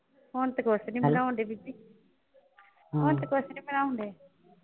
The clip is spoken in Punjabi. ਹੁਣ ਤੇ ਕੁੱਛ ਨਈਂ ਬਣਾਉਣ ਡੈ ਬੀਬੀ ਹੁਣ ਤੇ ਕੁੱਛ ਨਈਂ ਬਣਾਉਣ ਡੈ।